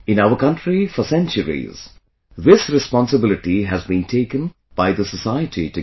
In our country, for centuries, this responsibility has been taken by the society together